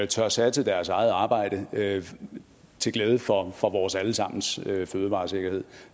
tør satse deres eget arbejde til glæde for for vores alle sammens fødevaresikkerhed